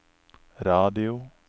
radio